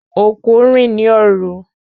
Okú n rìn ní òru